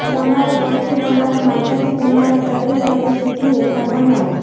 તમારા પગથી તમારા માથાથી તમારા શરીર સાથે સીધી રેખા બનાવો